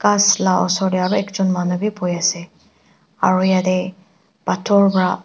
ghas la osor tey aro ekjun manu bi buhiase aro yatey pathor bra--